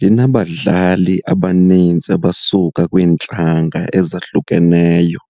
linabadlali abanintsi abasuka kwiintlanga ezahlukeneyo.